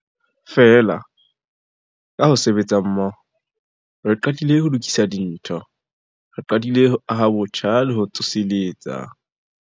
Feela, ka ho sebetsa mmoho, re qadile ho lokisa dintho. Re qadile ho aha botjha le ho tsoseletsa.